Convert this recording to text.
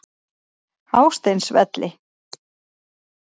Hásteinsvelli